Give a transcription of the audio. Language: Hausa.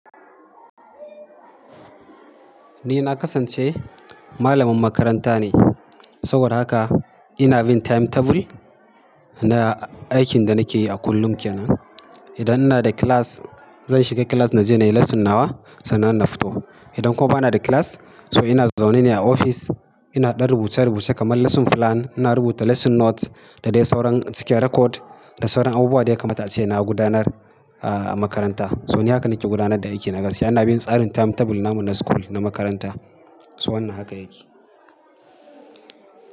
Ni na kasance malamin makaranta ne, saboda haka ina bin timetable na aikin da nake yi a kullum kenan. Idan inada class, zan shiga class naje nayi lesson nawa sannan na fito. Idan kuwa banada class, so ina zaune ne a ofis. Ina ɗan rubuce-rubuce kamar lesson plan, ina rubuta lesson note da dai sauran cike record da sauran abubuwa da ya kamata ace na gudanar, ah, a makaranta. So ni haka nake gudanar da aikina gaskiya. Ina bin tsarin timetable namu na school na makaranta. So wannan haka yake.